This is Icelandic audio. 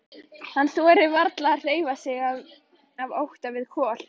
Hann þorir varla að hreyfa sig af ótta við Kol.